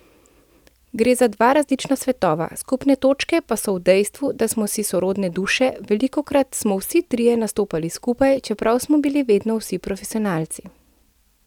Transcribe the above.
Gre za dva različna svetova, skupne točke pa so v dejstvu, da smo si sorodne duše, velikokrat smo vsi trije nastopali skupaj, čeprav smo bili vedno vsi profesionalci.